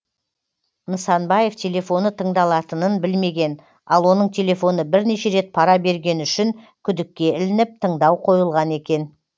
нысанбаев телефоны тыңдалатынын білмеген ал оның телефоны бірнеше рет пара бергені үшін күдікке ілініп тыңдау қойылған екен